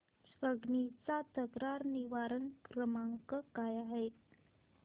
Swiggy चा तक्रार निवारण क्रमांक काय आहे